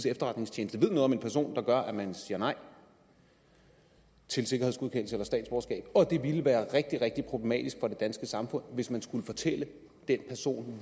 efterretningstjeneste ved noget om en person der gør at man siger nej til sikkerhedsgodkendelse eller statsborgerskab og at det ville være rigtig rigtig problematisk for det danske samfund hvis man skulle fortælle den person